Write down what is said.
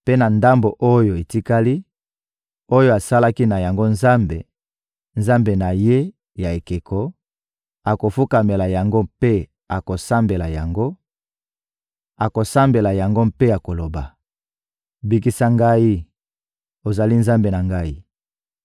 Mpe na ndambo oyo etikali, oyo asalaki na yango nzambe, nzambe na ye ya ekeko, akofukamela yango mpe akosambela yango; akosambela yango mpe akoloba: «Bikisa ngai, ozali nzambe na ngai!»